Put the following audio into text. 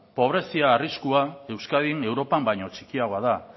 pobrezia arriskua euskadin europan baino txikiagoa da